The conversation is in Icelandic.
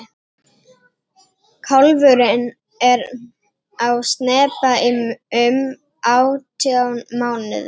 kálfurinn er á spena í um átján mánuði